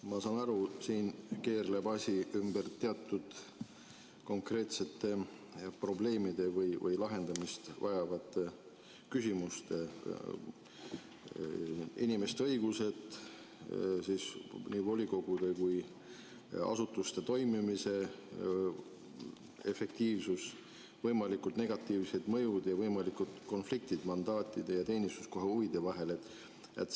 Ma saan aru, siin keerleb asi ümber teatud konkreetsete probleemide või lahendamist vajavate küsimuste: inimeste õigused, nii volikogude kui ka asutuste toimimise efektiivsus, võimalikud negatiivsed mõjud ja võimalikud konfliktid mandaadi ja teenistuskoha huvide vahel.